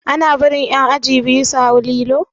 Ana bari ƴan aji biyu su hau lilo?